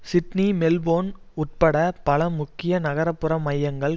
Sydney Melbourne உட்பட பல முக்கிய நகரப்புற மையங்கள்